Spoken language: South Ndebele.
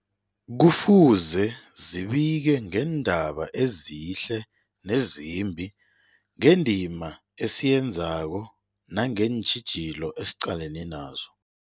Kufuze zibike ngeendaba ezihle nezimbi, ngendima esiyenzako nangeentjhijilo esiqalene nazo.